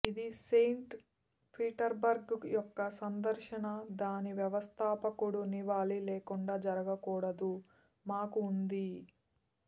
ఇది Saint Petersburg యొక్క సందర్శనా దాని వ్యవస్థాపకుడు నివాళి లేకుండా జరగకూడదు మాకు ఉంది